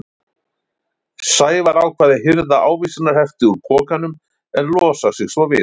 Sævar ákvað að hirða ávísanahefti úr pokanum en losa sig svo við hann.